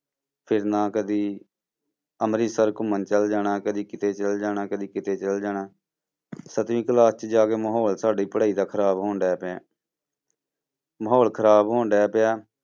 ਫਿਰਨਾ ਕਦੇ, ਅੰਮ੍ਰਿਤਸਰ ਘੁੰਮਣ ਚਲੇ ਜਾਣਾ ਕਦੇ ਕਿਤੇ ਚਲੇ ਜਾਣਾ, ਕਦੇ ਕਿਤੇ ਚਲੇ ਜਾਣਾ ਸੱਤਵੀਂ class 'ਚ ਜਾ ਕੇ ਮਾਹੌਲ ਸਾਡੀ ਪੜ੍ਹਾਈ ਦਾ ਖ਼ਰਾਬ ਹੋਣ ਡਿਆ ਪਿਆ ਮਾਹੌਲ ਖ਼ਰਾਬ ਹੋਣ ਡਿਆ ਪਿਆ।